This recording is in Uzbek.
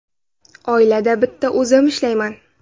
Oilada bitta o‘zim ishlayman.